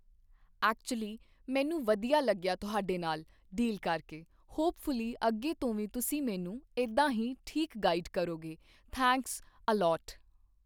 actually ਮੈਨੂੰ ਵਧੀਆ ਲੱਗਿਆ ਤੁਹਾਡੇ ਨਾਲ਼ ਡੀਲ ਕਰਕੇ ਹੌਪਫੁੱਲੀ ਅੱਗੇ ਤੋਂ ਵੀ ਤੁਸੀਂ ਮੈਨੂੰ ਇੱਦਾਂ ਹੀ ਠੀਕ ਗਾਈਡ ਕਰੋਗੇ ਥੈਂਕਸ ਅ ਲੋਟ